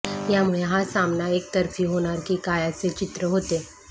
यामुळे हा सामना एकतर्फी होणार की काय असे चित्र होते